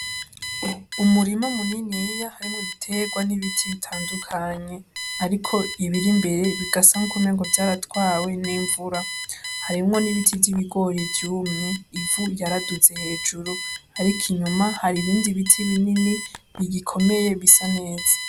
Umurima muniniya harimwo ibiterwa n'ibiti bitandukanye. Ariko ibiri imbere bigasa nk'uko umenga vyaratwawe n'imvura. Harimwo n'ibiti vy'ibigori vyumye, ivu ryaraduze hejuru ariko inyuma hari ibindi biti binini bigikomeye bisa neza.